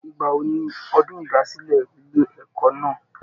Ìgbà wo ni ọdún ìdásílẹ̀ ilé ẹ̀kọ́ náà?